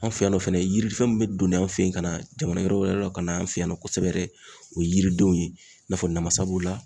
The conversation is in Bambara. An fɛ yan nɔ fɛnɛ yiri fɛn min bɛ doni anw fɛ ye ka na jamana yɔrɔ wɛrɛw la ka na an fɛ yan nɔ kosɛbɛ o ye yiridenw ye i n'a fɔ namasaw b'o la.